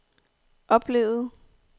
oplevede